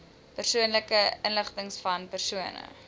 persoonlike inligtingvan persone